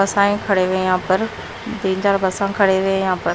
बसाए खड़े हुए हैं यहां पर तीन चार बसा खड़े हुए हैं यहां पर--